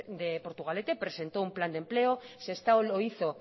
de portugalete presentó un plan de empleo sestao lo hizo